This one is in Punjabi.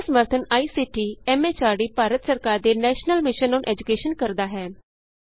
ਇਸ ਦਾ ਸਮਰੱਥਨ ਆਈਸੀਟੀ ਐਮ ਐਚਆਰਡੀ ਭਾਰਤ ਸਰਕਾਰ ਦੇ ਨੈਸ਼ਨਲ ਮਿਸ਼ਨ ਅੋਨ ਏਜੂਕੈਸ਼ਨ ਕਰਦਾ ਹੈ